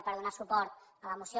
per donar suport a la moció